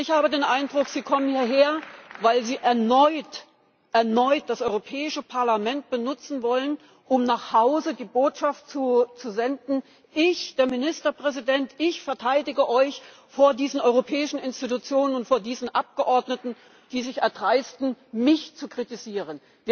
Ich habe den Eindruck, Sie kommen hierher, weil Sie erneut das Europäische Parlament benutzen wollen, um die Botschaft nach Hause zu senden Ich, der Ministerpräsident, ich verteidige euch vor diesen europäischen Institutionen und vor diesen Abgeordneten, die sich erdreisten, mich zu kritisieren.